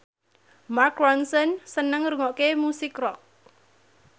Mark Ronson seneng ngrungokne musik rock